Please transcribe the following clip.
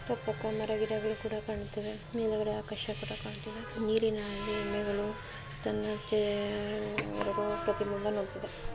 ಸ್ವಲ್ಪ ಕನ್ನಡ ಅವರು ಕೂಡ ಕಂಡು ನಿಮಗೆ ಆಕರ್ಷಕ ಗಂಟೆಗೆ ನೀರಿನಲ್ಲಿಗಳು ಸಮಯ ಪ್ರತಿ ಮೂರು--